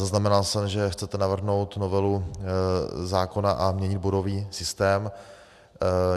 Zaznamenal jsem, že chcete navrhnout novelu zákona a měnit bodový systém.